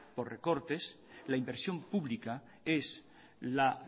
por recortes la inversión pública es la